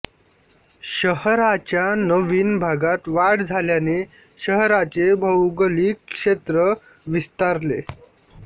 शहराच्या नवीन भागात वाढ झाल्याने शहराचे भौगोलिक क्षेत्र विस्तारले